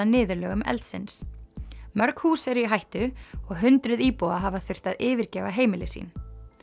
niðurlögum eldsins mörg hús eru í hættu og hundruð íbúa hafa þurft að yfirgefa heimili sín